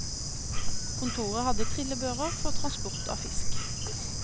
Kontoret hadde trillebører for transport av fisk.